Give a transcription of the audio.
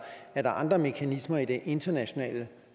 er der andre mekanismer i det internationale